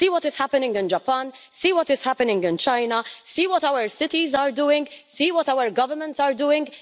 See what is happening in Japan, see what is happening in China, see what our cities are doing, and see what our governments are doing.